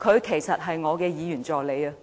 其實，他便是我的議員助理。